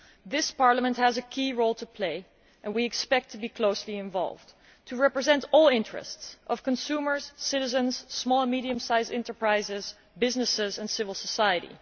This Parliament has a key role to play, and we expect to be closely involved to represent all interests, those of consumers, citizens, small and medium sized enterprises, businesses and civil society.